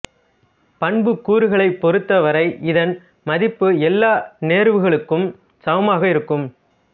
பண்புக்கூறுகளைப் பொறுத்த வரை இதன் மதிப்பு எல்லா நேர்வுகளுக்கும் சமமாக இருக்கும்